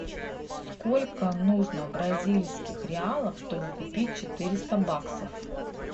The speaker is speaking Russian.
сколько нужно бразильских реалов чтобы купить четыреста баксов